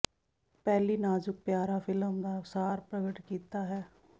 ਪਹਿਲੀ ਨਾਜ਼ੁਕ ਪਿਆਰਾ ਫਿਲਮ ਦਾ ਸਾਰ ਪ੍ਰਗਟ ਕੀਤਾ ਹੈ